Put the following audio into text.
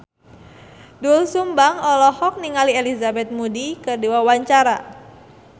Doel Sumbang olohok ningali Elizabeth Moody keur diwawancara